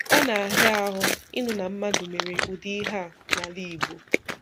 Ọ na-ahịa ahụ ịnụ na mmadụ mere ụdị ihe a n'ala Igbo.